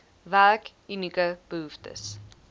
werk unieke behoeftes